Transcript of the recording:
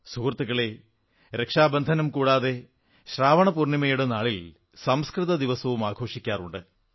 സുഹൃത്തുക്കളേ രക്ഷാബന്ധനം കൂടാതെ ശ്രാവണ പൂർണ്ണിമയുടെ നാളിൽ സംസ്കൃത ദിവസവും ആഘോഷിക്കാറുണ്ട്